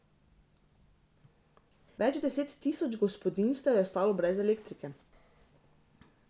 Več deset tisoč gospodinjstev je ostalo brez elektrike.